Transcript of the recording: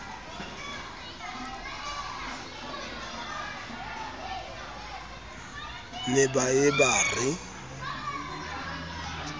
ne ba ye ba re